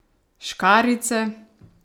Škarjice?